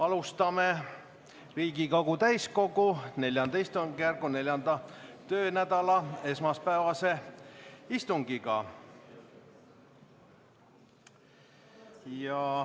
Alustame Riigikogu täiskogu IV istungjärgu 4. töönädala esmaspäevast istungit.